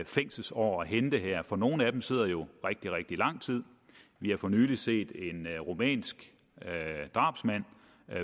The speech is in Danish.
fængselsår at hente her for nogle af dem sidder jo i rigtig rigtig lang tid vi har for nylig set en rumænsk drabsmand